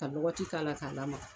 Ka lɔgɔti k'a la k'a lamaga